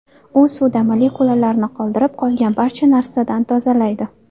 U suvda molekulalarni qoldirib, qolgan barcha narsadan tozalaydi.